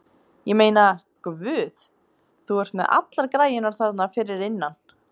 Ég meina, Guð, þú ert með allar græjurnar þarna fyrir innan.